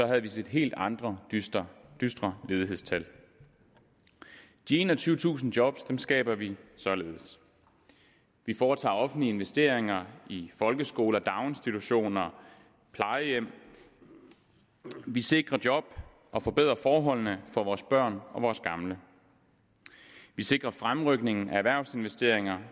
havde vi set helt andre dystre dystre ledighedstal de enogtyvetusind job skaber vi således vi foretager offentlige investeringer i folkeskoler daginstitutioner og plejehjem vi sikrer job og forbedrer forholdene for vores børn og vores gamle vi sikrer fremrykningen af erhvervsinvesteringer